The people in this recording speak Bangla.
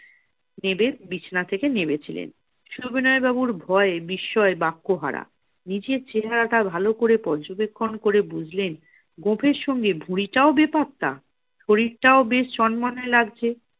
বিছানা থেকে নেমেছিলেন। সবিনয় বাবুর ভয়ে বিস্ময় বাক্য হারা। নিজের চেহারাটা ভালো করে পর্যবেক্ষণ করে বুঝলেন, গোফের সঙ্গে ভুঁড়িটাও বেপাত্তা! শরীরটাও বেশ চনমনে লাগছে।